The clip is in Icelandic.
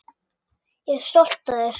Ég er stolt af þér.